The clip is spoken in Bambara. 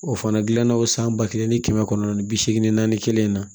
O fana gilanna o san ba kelen ni kɛmɛ kɔnɔntɔn ni bi seegin naani kelen na